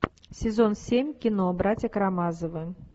сезон семь кино братья карамазовы